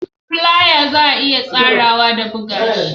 Flier za a iya tsarawa da buga shi